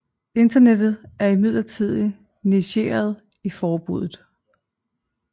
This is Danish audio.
Internettet er imidlertid negeret i forbuddet